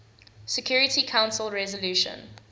security council resolution